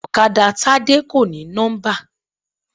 Ọ̀kadà Tádé kò ní nọ́mbà.